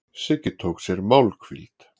Siggi tók sér málhvíld.